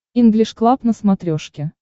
инглиш клаб на смотрешке